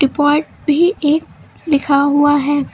Depot भी एक लिखा हुआ है।